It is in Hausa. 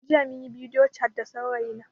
Jiya munyi bidiyo cat da saurayi na